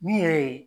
Min yɛrɛ ye